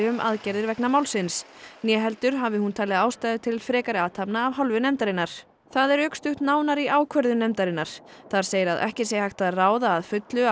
um aðgerðir vegna málsins né heldur hafi hún talið ástæðu til frekari athafna af hálfu nefndarinnar það er rökstutt nánar í ákvörðun nefndarinnar þar segir að ekki sé hægt að ráða að fullu